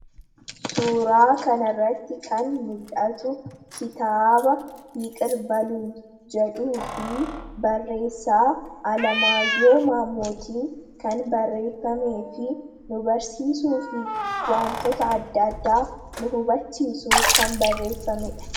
Suuraa kana irratti kan mul'atu, kitaaba 'yiqir baluunyi' jedhuu fi barreessaa Alamaayyoo Maammootiin kan barreeffamee fi nu barsiisuuf waantota addaa addaa nu hubachiisuuf kan barreeffamedha.